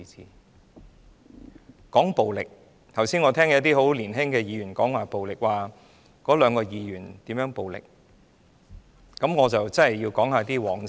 說到暴力，我剛才聽到一些十分年青的議員提及那兩位議員如何使用暴力，我真的要談談往事。